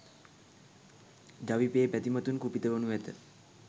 ජවිපෙ බැතිමතුන් කුපිත වනු ඇත.